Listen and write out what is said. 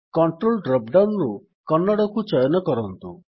CTL drop down ରୁ କନ୍ନଡ଼କୁ ଚୟନ କରନ୍ତୁ